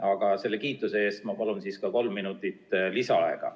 Aga selle kiituse eest ma palun siis ka kolm minutit lisaaega!